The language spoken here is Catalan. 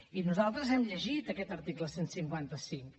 i nosaltres hem llegit aquest article cent i cinquanta cinc